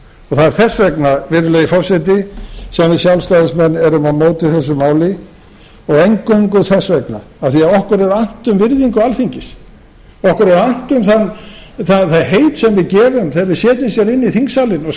það er þess vegna virðulegi forseti sem við sjálfstæðismenn erum á móti þessu máli og eingöngu þess vegna af því að okkur er annt um virðingu alþingis okkur er annt um það heit sem við gefum þegar við setjumst inn í þingsalinn og